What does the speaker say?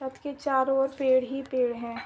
छत के चारों ओर पेड़ ही पेड़ हैं।